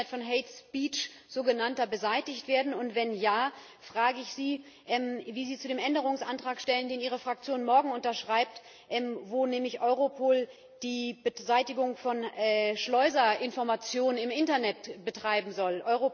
Soll das Internet von sogenannter hate speech befreit werden, und wenn ja, frage ich Sie, wie Sie sich zu dem Änderungsantragstehen, den Ihre Fraktion morgen unterschreibt, wo nämlich Europol die Beseitigung von Schleuserinformationen im Internet betreiben soll?